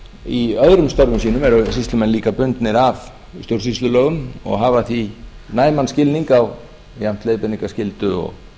í öðrum störfum sínum eru sýslumenn líka bundnir af stjórnsýslulögum og hafa því næman skilning á jafnt leiðbeiningarskyldu og